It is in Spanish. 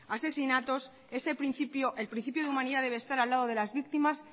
asesinatos ese principio el principio de humanidad debe estar al lado de las víctimas